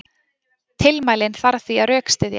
Tilmælin þarf því að rökstyðja.